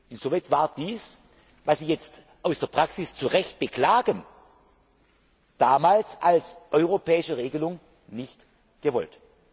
Insoweit war dies, was Sie jetzt aus der Praxis zu Recht beklagen, damals als europäische Regelung nicht gewollt.